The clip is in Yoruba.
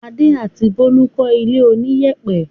Adé àti Bólú kọ́ ilé oníyẹ̀pẹ̀.